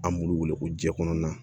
An b'olu wele ko ji kɔnɔna